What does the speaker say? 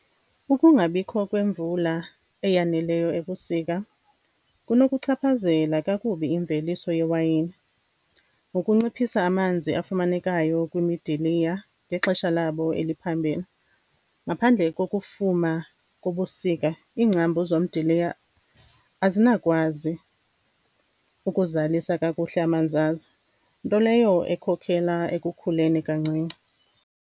Ukungabikho kwemvula eyaneleyo ebusika kunokuchaphazela kakubi imveliso yewayini ngokuciphisa amanzi afumanekayo kwimidiliya ngexesha labo eliphambili. Ngaphandle kokufuma kobusika, iingcambu zomdiliya azinakwazi ukuzalisa kakuhle amanzi azo, nto leyo ekhokhela ekukhuleni kancinci.